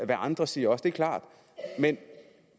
hvad andre siger det er klart men